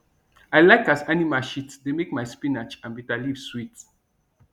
i like as animal shit dey make my spinach and bitterleaf sweet